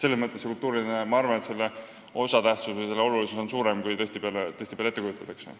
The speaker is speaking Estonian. Selles mõttes on kultuurilise hoiaku osatähtsus ja olulisus suuremad, kui tihtipeale ette kujutatakse.